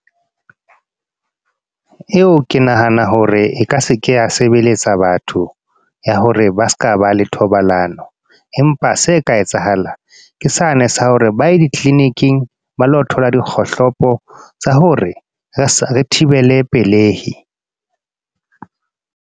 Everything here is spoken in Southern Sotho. Eo ke nahana hore e ka se ke ya sebeletsa batho, ya hore ba seka ba le thobalano. Empa se ka etsahalang, ke sane sa hore ba e di-clinic-ing. Ba lo thola dikgohlopo, tsa hore re thibele pelehi.